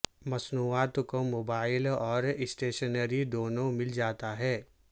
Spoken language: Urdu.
مصنوعات کو موبائل اور اسٹیشنری دونوں مل جاتا ہے